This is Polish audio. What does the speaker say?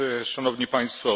Szanowni Państwo!